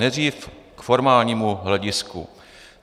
Nejdřív k formálnímu hledisku.